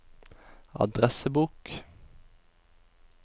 adressebok